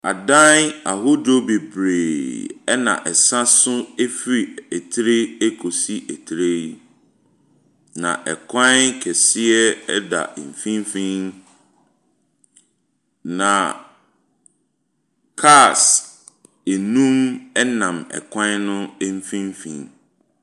Adan ahodoɔ bebree na ɛsa so firi tire kɔsi tire. Na kwan kɛseɛ da mfimfini. Na cars nnum nam kwan no mfimfin.